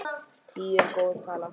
Tíu er góð tala.